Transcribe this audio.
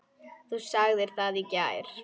Þú sagðir það í gær.